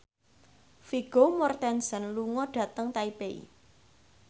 Vigo Mortensen lunga dhateng Taipei